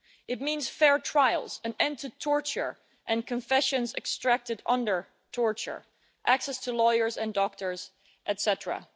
It means fair trials, an end to torture and confessions extracted under torture, access to lawyers and doctors, etcetera.